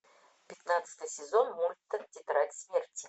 пятнадцатый сезон мульта тетрадь смерти